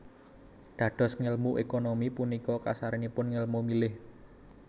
Dados ngèlmu ékonomi punika kasaranipun ngèlmu milih